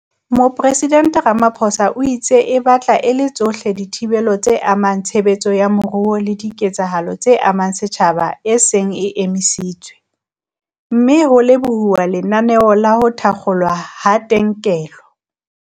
Mopresidente Ramaphosa o itse e batla e le tsohle dithibelo tse amang tshebetso ya moruo le diketsahalo tse amang setjhaba e seng e emisitswe, mme ho lebohuwa lenaneo la ho thakgolwa ha kentelo.